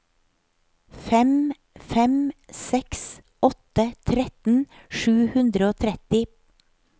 fem fem seks åtte tretten sju hundre og tretti